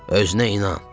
Özünə inan.